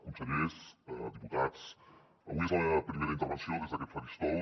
consellers diputats avui és la meva primera intervenció des d’aquest faristol